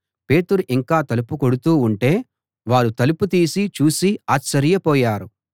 పేతురు ఇంకా తలుపు కొడుతూ ఉంటే వారు తలుపు తీసి చూసి ఆశ్చర్యపోయారు